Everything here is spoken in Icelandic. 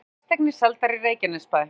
Átján fasteignir seldar í Reykjanesbæ